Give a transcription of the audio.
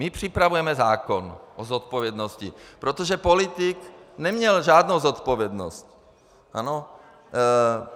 My připravujeme zákon o zodpovědnosti, protože politik neměl žádnou zodpovědnost.